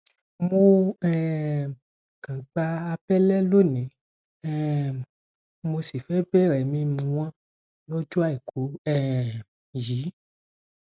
mo um kan gba àbẹlẹ lóní um mo sì fẹẹ bẹrẹ mímú wọn lọjọ àìkú um yìí